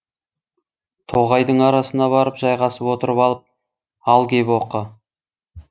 тоғайдың арасына барып жайғасып отырып алып ал кеп оқы